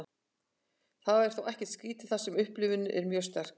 þetta er þó ekkert skrítið þar sem upplifunin er mjög sterk